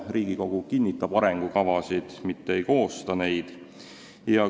Riigikogu kinnitab arengukavasid, mitte ei koosta neid.